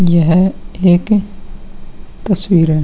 यह एक तस्वीर है।